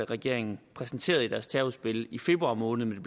regeringen præsenterede i deres terrorudspil i februar måned